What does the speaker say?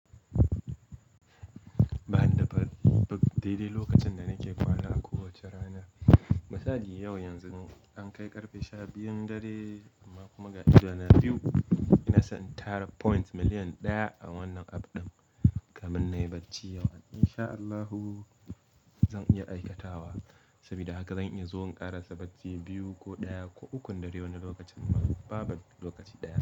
Ba ni da ba-ba dai dai lokacin da nake kwana a kowace rana. Misali yau, yanzu an kai ƙarfe sha biyun dare amma kuma ga ido na biyu ina son tara points million ɗaya a wannan app ɗin. Kamin na yi bacci yau, in sha Allahu zan iya aikatawa. Saboda haka zan iya zuwa ƙarasa bacci biyu ko ɗaya ko ukun dare wani lokacin ba-ba lokaci ɗaya.